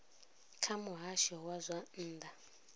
kha muhasho wa zwa nnḓa